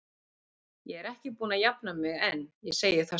Ég er ekki búin að jafna mig enn, ég segi það satt.